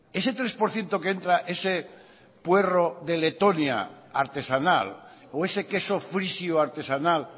ese tres por ciento que entra ese puerro de letonia artesanal o ese queso frisio artesanal